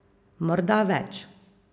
Morda več.